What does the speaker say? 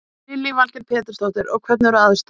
Lillý Valgerður Pétursdóttir: Og hvernig eru aðstæður?